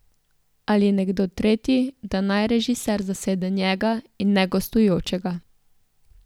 Ali nekdo tretji, da naj režiser zasede njega, in ne gostujočega.